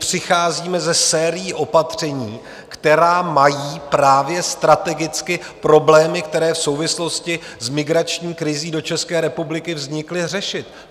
Přicházíme se sérií opatření, která mají právě strategicky problémy, které v souvislosti s migrační krizí do České republiky vznikly, řešit.